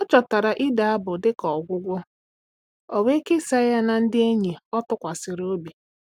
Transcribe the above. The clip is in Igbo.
Ọ chọtara ide abụ dịka ọgwụgwọ, Ọ wee kesaa ya na ndị enyi ọ tụkwasịrị obi.